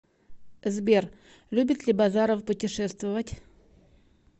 сбер любит ли базаров путешествовать